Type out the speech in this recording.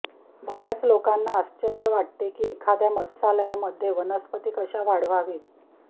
बर्याच लोकांना आश्चर्य वाटते की एखाद्या मत्स्यालयामध्ये वनस्पती कशा वाढवावीत